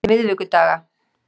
miðvikudaga